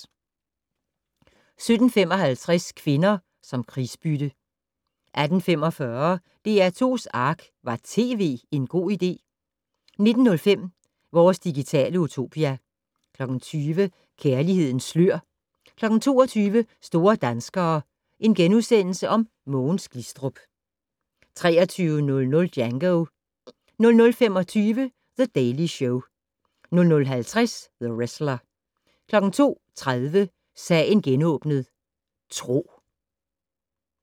17:55: Kvinder som krigsbytte 18:45: DR2's Ark - Var tv en god idé? 19:05: Vores digitale utopia 20:00: Kærlighedens slør 22:00: Store danskere: Mogens Glistrup * 23:00: Django 00:25: The Daily Show 00:50: The Wrestler 02:30: Sagen genåbnet: Tro